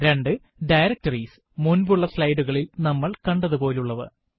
2 Directories മുന്പുള്ള slide കളിൽ നമ്മൾ കണ്ടതുപോലെയുള്ളവ